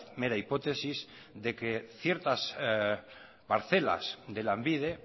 mera hipótesis de que ciertas parcelas de lanbide